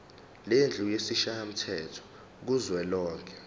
lendlu yesishayamthetho kuzwelonke